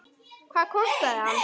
Hvað kostaði hann?